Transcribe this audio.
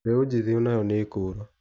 Mbeu njĩthĩ onayo nĩkũra.